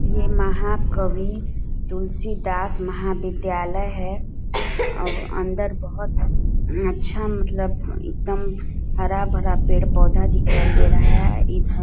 ये महाकवी तुलसीदास महाविद्यालय है और अंदर बहोत अच्छा मतलब एकदम हरा-भरा पेड़-पौधा दिखाई दे रहा है इधर--